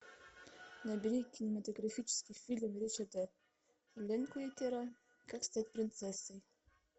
набери кинематографический фильм ричарда линклейтера как стать принцессой